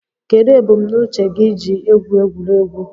Kedụ ebumnuche gị iji egwu egwuregwu?